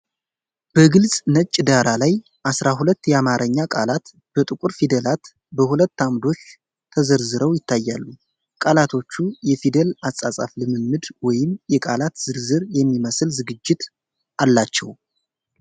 በግልጽ ነጭ ዳራ ላይ አሥራ ሁለት የአማርኛ ቃላት በጥቁር ፊደላት በሁለት ዓምዶች ተዘርዝረው ይታያሉ። ቃላቶቹ የፊደል አጻጻፍ ልምምድ ወይም የቃላት ዝርዝር የሚመስል ዝግጅት አላቸው።